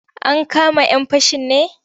Ankama 'yan fashin ne?